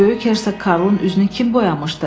Böyük Hersoq Karlın üzünü kim boyamışdı?